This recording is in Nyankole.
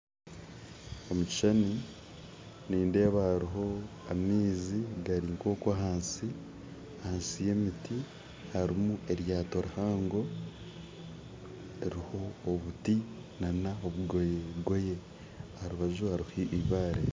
Omu kishushani nindeeba hariho amaizi gari nk'okwo ahansi ahansi y'emiti hariyo eryato rihango ririho obuti n'obugoyegoye aha rubaju hariho eibaare